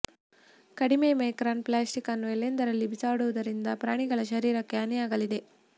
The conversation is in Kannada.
ಕಡಿಮೆ ಮೈಕ್ರಾನ್ ಪ್ಲಾಸ್ಟಿಕ್ ನ್ನು ಎಲ್ಲೆಂದರಲ್ಲಿ ಬಾಸುಡುವುದರಿಂದ ಪ್ರಾಣಿಗಳ ಶರೀರಕ್ಕೆ ಹಾನಿಯಾಗಲಿದೆ